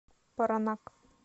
паранак